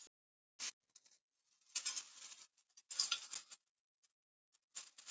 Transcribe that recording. Ég ætla að taka þau fyrir í stafrófsröð til þess að gæta fyllsta hlutleysis.